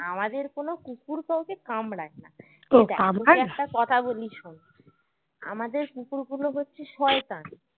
আমাদের কোনো কুকুর কাউকে কামরায় না একটা কথা বলি শোন আমাদের কুকুরগুলো হচ্ছে শয়তান